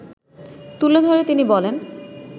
তুলে ধরে তিনি বলেন